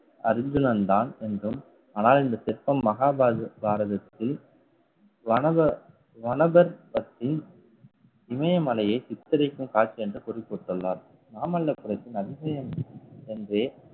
அர்ஜுனன் தான் என்றும் ஆனால் இந்த சிற்பம் மகாபாரத~ பாரதத்தில் வனவ~ வனவர் பக்தி இமயமலையை சித்தரிக்கும் காட்சி என்று குறிப்பிட்டுள்ளார் மாமல்லபுரத்தின் அதிசயம் என்றே